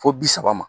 Fo bi saba ma